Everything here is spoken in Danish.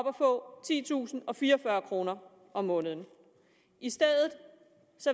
at få titusinde og fireogfyrre kroner om måneden i stedet